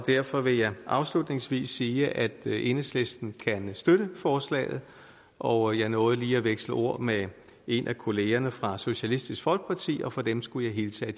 derfor vil jeg afslutningsvis sige at enhedslisten kan støtte forslaget og jeg nåede lige at veksle ord med en af kollegaerne fra socialistisk folkeparti og fra dem skulle jeg hilse